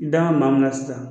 I dan bɛ maa min na sisan.